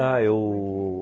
Ah, eu...